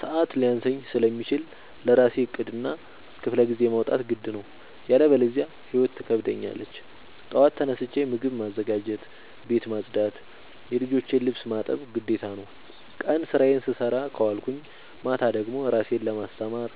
ሰዐት ሊያንሰኝ ስለሚችል ለራሴ ዕቅድ እና ክፍለጊዜ ማውጣት ግድ ነው። ያለበዚያ ህይወት ትከብደኛለች ጠዋት ተነስቼ ምግብ ማዘጋጀት፣ ቤት መፅዳት የልጆቼን ልብስ ማጠብ ግዴታ ነው። ቀን ስራዬን ስሰራ ከዋልኩኝ ማታ ደግሞ እራሴን ለማስተማር